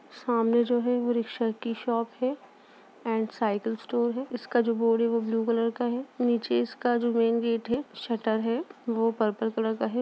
सामने जो है रिक्शा की शॉप है। एंड साइकिल स्टोर है। इसका जो बोर्ड है। वो ब्लू कलर का है। नीचे इसका जो मेन गेट है। शटर है। वो पर्पल कलर का है।